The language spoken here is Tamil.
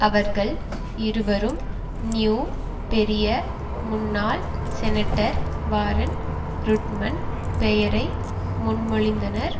அவர்கள் இருவரும் நியூ பெரிய முன்னாள் செனட்டர் வாரன் ருட்மன் பெயரை முன்மொழிந்தனர்